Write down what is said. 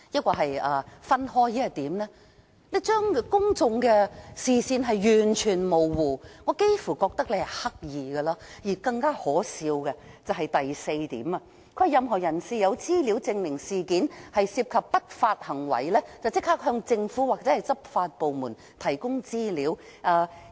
港鐵公司將公眾的視線完全模糊，我幾乎覺得這是刻意的，而更可笑的是聲明的第四點，"若任何人士有資料證明事件涉及不法行為，應立即向政府或執法部門提供資料。